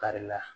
Kari la